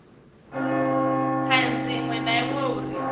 thanzi iṅwe na iṅwe uri